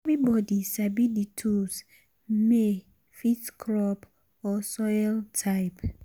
everybody sabi the tools may um fit crop or soil type.